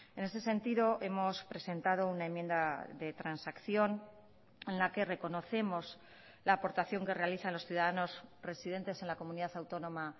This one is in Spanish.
en ese sentido hemos presentado una enmienda de transacción en la que reconocemos la aportación que realizan los ciudadanos residentes en la comunidad autónoma